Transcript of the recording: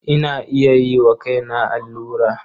Ina iya yi wa kaina allura.